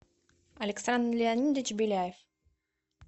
александр леонидович беляев